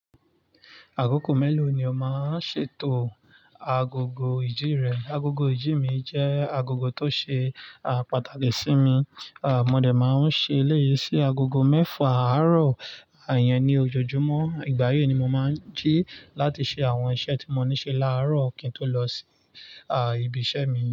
Agogo mélòó ni o máa ń ṣètò agogo ìjì rẹ? Agogo ìjì mi jẹ́ agogo tó ṣe, à, pàtàkì sí mi. À, mo dẹ̀ máa ń ṣe léyé sí agogo mẹ́fà àárọ̀, à, yẹn ni ojoojúmọ́. Ìgbà yẹn ni mo máa ń jí láti ṣe àwọn iṣẹ́ tí mo ní ṣe láàárọ̀ kí n tó lọ sí, à, ibi iṣẹ́ mi.